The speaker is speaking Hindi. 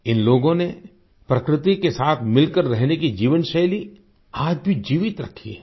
इन लोगों ने प्रकृति के साथ मिलकर रहने की जीवनशैली आज भी जीवित रखी है